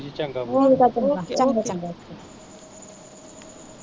ਚੰਗਾ ਚੰਗਾ okay